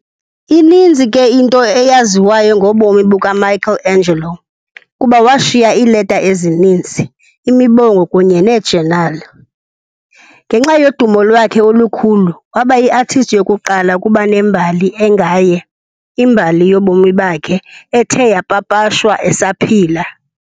Ininzi ke into eyaziwayo ngobomi bukaMichelangelo kuba washiya iileta ezininzi, imibongo kunye neejenali. Ngenxa yodumo lwakhe olukhulu, wabayiartist yokuqala ukuba nembali engaye, imbali ngobomi bakhe, ethe yapapashwa esaphila.